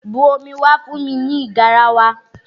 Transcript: Bu omi wá fún mi nínú garawa!